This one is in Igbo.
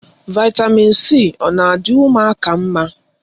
Vị́tamị́n c ọ na adị ụmụaka mma?